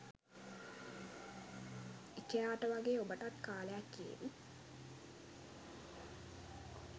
ඉකෙයාට වගේ ඔබටත් කාලයක් ඒවි